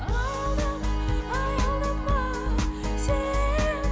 аялдама аялдама сен